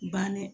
Bannen